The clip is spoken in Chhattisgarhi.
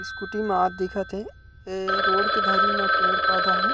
स्कूटी म दिखत हे ए रोड के धरी में पेड़-पौधा हे।